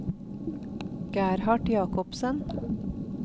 Gerhard Jakobsen